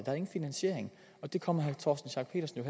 er ingen finansiering og det kommer herre torsten schack pedersen